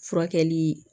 Furakɛli